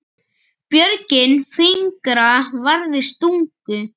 Björgin fingra varðist stungu.